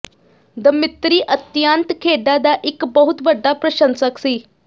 Dmitri ਅਤਿਅੰਤ ਖੇਡਾਂ ਦਾ ਇੱਕ ਬਹੁਤ ਵੱਡਾ ਪ੍ਰਸ਼ੰਸਕ ਸੀ